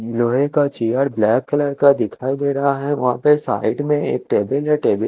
लोहे का chair black colour का दिखाई दे रहा है वहा पे साइड में एक टेबल है टेबल --